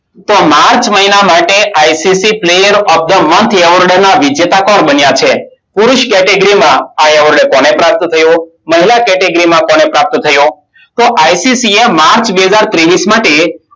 તો માર્ચ મહિના માટે ICC player of the month award ના વિજેતા કોણ બન્યા છે? પુરુષ કેટેગરીમાં આ એવોર્ડ કોને પ્રાપ્ત થયો? મહિલા કેટેગરીમાં કોને પ્રાપ્ત થયો? તો ICC એ માર્ચ બે હજાર ત્રેવસી માટે,